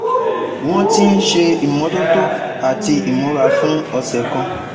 Wọ́n ti ń ṣe ìmọ́tótó àti imura fún ọ̀sẹ̀ kan